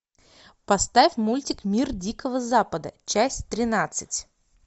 поставь мультик мир дикого запада часть тринадцать